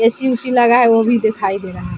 AC. वेसी लगा है वो भी दिखाई दे रहा है ।